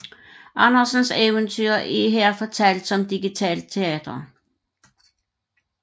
Andersens eventyr er her fortalt som digitalt teater